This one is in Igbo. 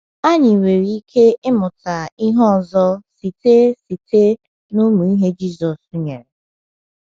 Anyị nwere ike ịmụta ihe ọzọ site site n’ụmụ ihe Jisọs nyere.